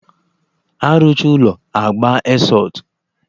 After building, painting follows